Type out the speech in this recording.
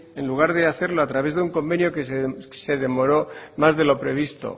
en lugar de hacerlo a través de un convenio que se demoró más de lo previsto